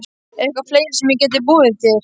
Eitthvað fleira sem ég gæti boðið þér?